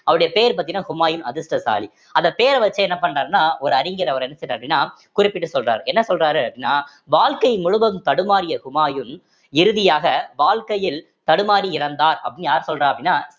அவருடைய பெயர் பாத்தீங்கன்னா ஹுமாயூன் அதிர்ஷ்டசாலி அந்த பேரை வச்சே என்ன பண்றாருன்னா ஒரு அறிஞர் அவர் என்ன செய்றார் அப்படின்னா குறிப்பிடு சொல்றாரு என்ன சொல்றாரு அப்படின்னா வாழ்க்கை முழுவதும் தடுமாறிய ஹுமாயூன் இறுதியாக வாழ்க்கையில் தடுமாறி இறந்தார் அப்படின்னு யார் சொல்றா அப்படின்னா